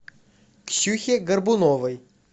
ксюхе горбуновой